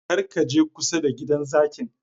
Kar ka je kusa da gidan zakin!